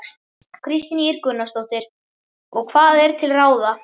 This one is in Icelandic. Kristín Ýr Gunnarsdóttir: Og hvað er til ráða?